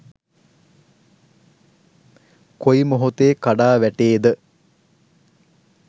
කොයි මොහොතේ කඩා වැටේද